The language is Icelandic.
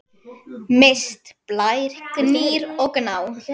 Mist, Blær, Gnýr og Gná.